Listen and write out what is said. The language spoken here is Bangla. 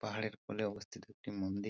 পাহাড়ের কোলে অবস্থিত একটি মন্দি--